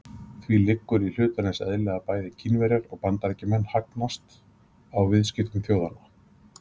Því liggur í hlutarins eðli að bæði Kínverjar og Bandaríkjamenn hagnast á viðskiptum þjóðanna.